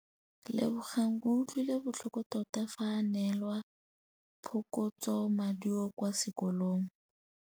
Lebogang o utlwile botlhoko tota fa a neelwa phokotsômaduô kwa sekolong.